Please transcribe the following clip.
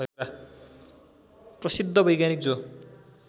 प्रसिद्ध वैज्ञानिक जो